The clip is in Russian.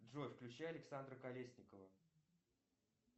джой включи александра колесникова